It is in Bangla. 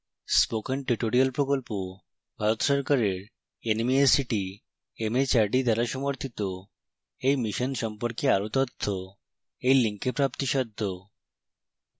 spoken tutorial প্রকল্প ভারত সরকারের nmeict mhrd দ্বারা সমর্থিত